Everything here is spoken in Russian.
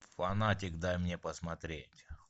фанатик дай мне посмотреть